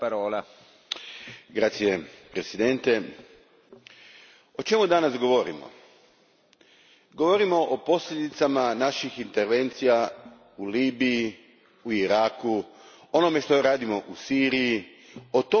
Gospodine predsjedniče, o čemu danas govorimo? Govorimo o posljedicama naših intervencija u Libiji, u Iraku, onome što radimo u Siriji, o tome mi danas govorimo.